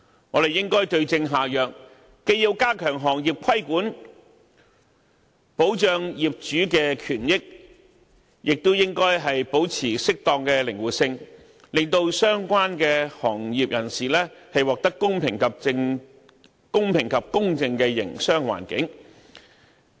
我們應該對症下藥，既要加強行業規管，保障業主的權益，也應保持適當的靈活性，為相關行業人士提供公平及公正的營商環境。